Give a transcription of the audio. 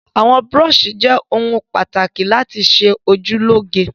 Àwọn búrọ́ṣì jẹ́ àwọn ohun-èlò tó ṣe pàtàkì láti fi ṣe ojú lóge.